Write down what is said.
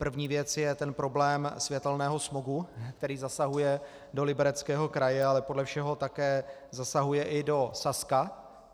První věc je ten problém světelného smogu, který zasahuje do Libereckého kraje, ale podle všeho také zasahuje i do Saska.